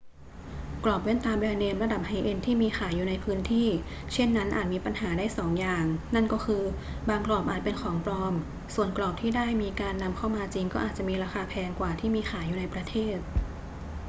กรอบแว่นตาแบรนด์เนมระดับไฮเอนด์ที่มีขายอยู่ในพื้นที่เช่นนั้นอาจมีปัญหาได้สองอย่าง นั่นก็คือ บางกรอบอาจเป็นของปลอม ส่วนกรอบที่ได้มีการนำเข้ามาจริงก็อาจมีราคาแพงกว่าที่มีขายอยู่ในประเทศ